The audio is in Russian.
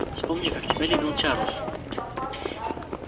вспомни как тебя любил чарлз